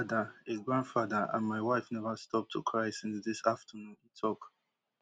i be father a grandfather and my wife neva stop to cry since dis afternoon e tok